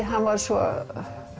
hann var svo